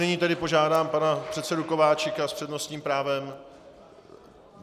Nyní tedy požádám pana předsedu Kováčika s přednostním právem.